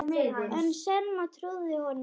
En Selma trúði honum ekki.